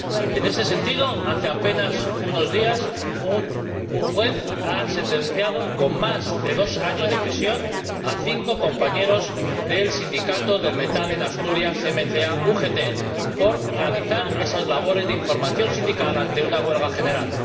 En ese sentido, hace apenas unos días, un juez ha sentenciado con más de dos años de prisión a cinco compañeros del sindicato del Metal en Asturias, MCA UGT, por realizar esas labores de información sindical ante una huelga general.